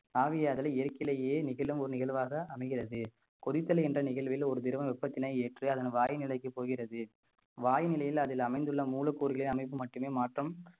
ஆவியாதலை இயற்கையிலேயே நிகழும் ஒரு நிகழ்வாக அமைகிறது கொதித்தல் என்ற நிகழ்வில் ஒரு திரவம் வெப்பத்தினை ஏற்று அதன் வாய்நிலைக்கு போகிறது வாய்நிலையில் அதில் அமைந்துள்ள மூலக்கூறுகளை அமைப்பு மட்டுமே மாற்றம்